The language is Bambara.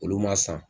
Olu ma san